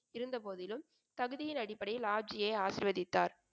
இருந்த போதிலும் தகுதியின் அடிப்படையில் ஆப்ஜியை ஆசிர்வதித்தார்.